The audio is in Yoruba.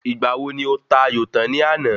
Ìgbà wo ni o ta ayò tan ní àná?